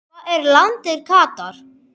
og Hvar er landið Katar?